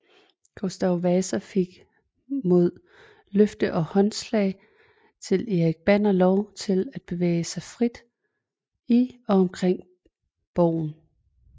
Gustav Vasa fik mod løfte og håndslag til Erik Banner lov til at bevæge sig frit i og omkring borgen